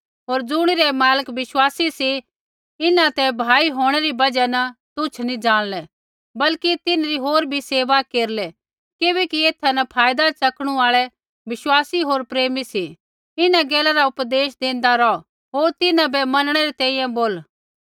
होर ज़ुणिरै मालक विश्वासी सी इन्हां ते भाई होंणै री बजहा न तुच्छ नी ज़ाणलै बल्कि तिन्हरी होर बी सेवा केरलै किबैकि एथा न फायदा च़कणू आल़ै विश्वासी होर प्रेमी सी इन्हां गैला रा उपदेश देंदा रौह होर तिन्हां बै मनणै री तैंईंयैं बोला